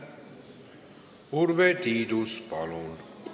Urve Tiidus, palun!